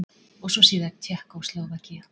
Og svo síðar Tékkóslóvakía.